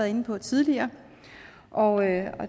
inde på tidligere og